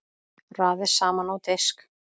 Raðið saman á disk.